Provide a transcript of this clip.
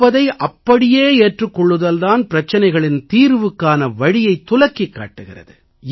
இருப்பதை அப்படியே ஏற்றுக் கொள்ளுதல் தான் பிரச்சினைகளின் தீர்வுக்கான வழியைத் துலக்கிக் காட்டுகிறது